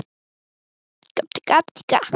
Finn að reiði mín er öll að hjaðna.